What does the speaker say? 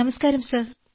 നമസ്ക്കാരം സർ